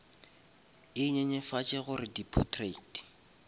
e nyenyefatše gore di potrait